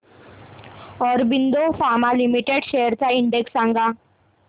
Aurobindo pharma limited shares चा index सांगा